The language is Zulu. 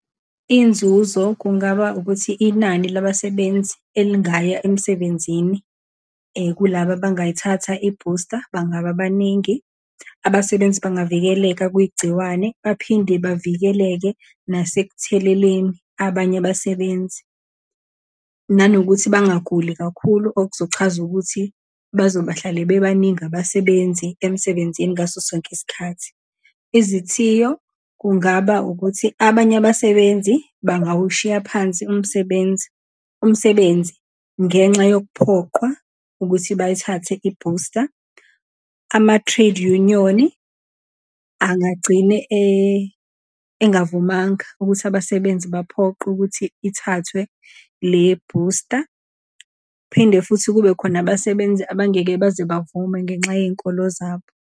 Inzuzo kungaba ukuthi, inani labasebenzi elingaya emsebenzini kulaba abangayithatha ibhusta bangaba baningi, abasebenzi bangavikeleka kugciwane, baphinde bavikeleke nasekutheleleni abanye abasebenzi, nanokuthi bangaguli kakhulu okuzochaza ukuthi bazobahlale bebaningi abasebenzi emsebenzini ngaso sonke isikhathi. Izithiyo kungaba ukuthi, abanye abasebenzi bangawushiya phansi umsebenzi, umsebenzi ngenxa yokuphoqwa ukuthi bayithathe ibhusta. Ama-trade union, angagcine engavumanga ukuthi abasebenzi baphoqwe ukuthi ithathwe lebhusta. Kuphinde futhi kube khona abasebenzi abangeke baze bavume ngenxa yenkolo zabo.